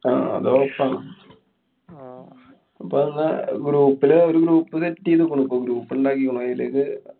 ആഹ് അതൊറപ്പാ. ആഹ് അപ്പൊന്നാ group ല് ഒരു group set ചെയ്തിക്കുണു. അപ്പൊ group ണ്ടാക്കിക്കുണു. അതിലേക്ക്